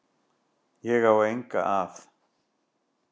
Ég á enga að.